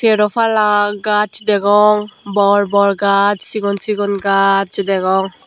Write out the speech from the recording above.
seropala gaj degong bor bor gaj sigon sigon gaj degong.